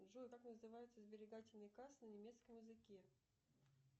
джой как называются сберегательные кассы на немецком языке